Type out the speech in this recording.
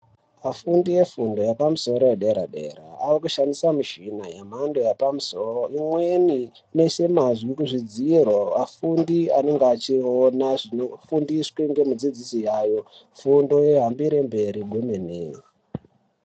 Vafundi vefundo yepamusoro, yepadera dera vakushandisa mishini yemhando yepamusoro. Imweni inoiswa mazwi kuzvidziro afundi anenge achionana zvinofundiswa ngemufundisi wavo. Fundo yohambire mberi kwemene.